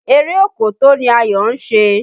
Eré òkòtó ni Ayọ̀ ń ṣe.